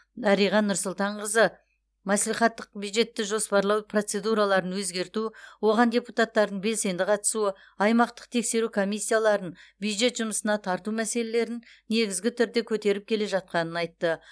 дариға нұрсұлтанқызы мәслихаттықтар бюджетті жоспарлау процедураларын өзгерту оған депутаттардың белсенді қатысуы аймақтық тексеру комиссияларын бюджет жұмысына тарту мәселелерін негізгі түрде көтеріп келе жатқанын айтты